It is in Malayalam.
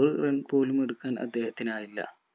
ഒരു run പോലുമെടുക്കാൻ അദ്ദേഹത്തിനായില്ല